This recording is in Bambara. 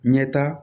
Ɲɛta